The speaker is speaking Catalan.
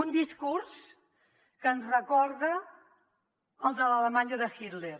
un discurs que ens recorda el de l’alemanya de hitler